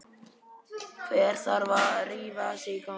Hver þarf að rífa sig í gang?